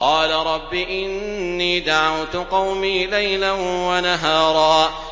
قَالَ رَبِّ إِنِّي دَعَوْتُ قَوْمِي لَيْلًا وَنَهَارًا